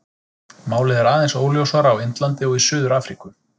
Málið er aðeins óljósara á Indlandi og í Suður-Afríku.